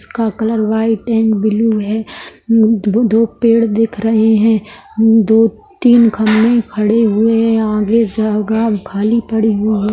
इसका colour white and blue हैं दो पेड़ दिख रहें हैं दो तीन खम्बे खड़े हुए हैं आगे जगह खाली पड़ी हुई हैं।